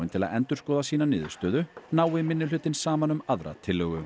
til að endurskoða sína niðurstöðu nái minnihlutinn saman um aðra tillögu